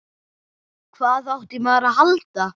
Hvað átti maður að halda?